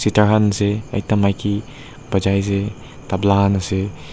taikhan se ekta maiki bajai se tabla khan ase.